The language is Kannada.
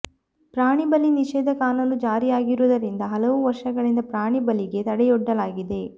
ಪ್ರಾಣಿ ಬಲಿ ನಿಷೇಧ ಕಾನೂನು ಜಾರಿಯಾಗಿರುವುದರಿಂದ ಹಲವು ವರ್ಷಗಳಿಂದ ಪ್ರಾಣಿ ಬಲಿಗೆ ತಡೆಯೊಡ್ಡಲಾಗಿದೆ